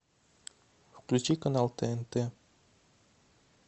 включи канал тнт